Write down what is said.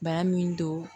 Bana min don